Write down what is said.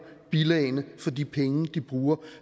bilagene for de penge de bruger